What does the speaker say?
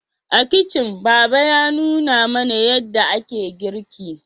A kicin baba ya nuna mana yadda ake girki